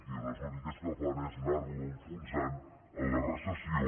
i les úniques que fan és anar lo enfonsant en la recessió